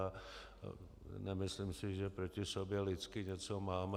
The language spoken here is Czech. A nemyslím si, že proti sobě lidsky něco máme.